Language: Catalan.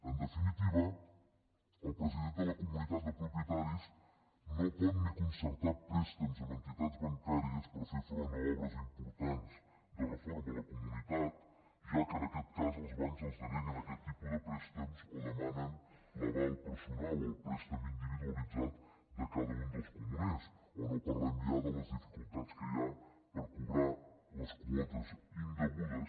en definitiva el president de la comunitat de propietaris no pot ni concertar préstecs amb entitats bancàries per fer front a obres importants de reforma a la comunitat ja que en aquest cas els bancs els deneguen aquest tipus de préstecs o demanen l’aval personal o el préstec individualitzat de cada un dels comuners o no parlem ja de les dificultats que hi ha per cobrar les quotes indegudes